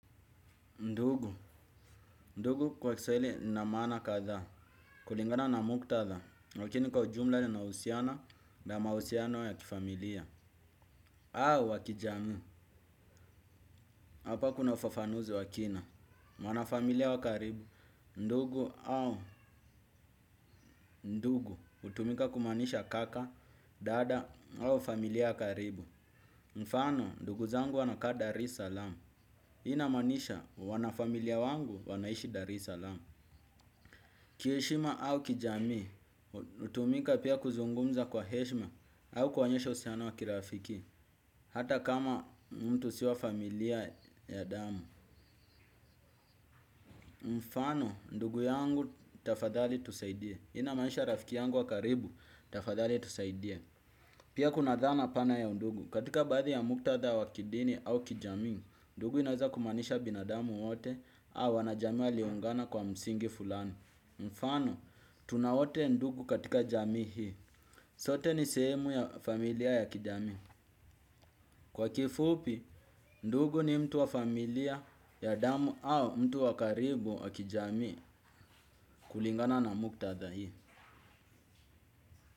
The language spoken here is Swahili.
Ndugu, ndugu kwa kiswahili lina maana kadhaa, kulingana na muktadha, lakini kwa jumla linahusiana, na mahusiano ya kifamilia. Au wa kijamii, hapa kuna ufafanuzi wa kina, wana familia wa karibu, ndugu au ndugu, hutumika kumaanisha kaka, dada, wana familia wa karibu. Mfano, ndugu zangu wanakaa dar es saalam, inamaanisha wanafamilia wangu wanaishi dar es saalam. Kiheshima au kijamii, hutumika pia kuzungumza kwa heshima au kuonyesha uhusiano wa kirafiki, hata kama mtu si wa familia ya damu. Mfano, ndugu yangu tafadhali tusaidie. Inamaanisha rafiki yangu wa karibu, tafadhali tusaidie. Pia kuna dhana pana ya ndugu, katika baadhi ya muktadha wa kidini au kijamii, ndugu inaweza kumaanisha binadamu wote au wana jamii waliungana kwa msingi fulani. Mfano tunawote ndugu katika jami hii. Sote ni sehemu ya familia ya kijamii. Kwa kifupi ndugu ni mtu wa familia ya damu au mtu wa karibu wa kijami kulingana na muktadha hii.